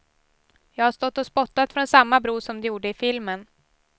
Jag har stått och spottat från samma bro som de gjorde i filmen.